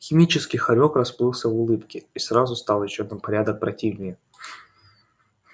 химический хорёк расплылся в улыбке и сразу стал ещё на порядок противнее